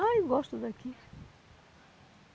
Ah, eu gosto daqui.